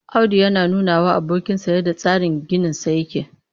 Audu yana nunawa abokinsa yadda tsarin ginisa yake